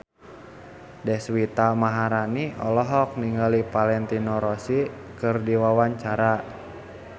Deswita Maharani olohok ningali Valentino Rossi keur diwawancara